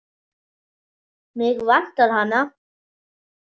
Mig vantar hana.